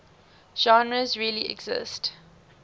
genres really exist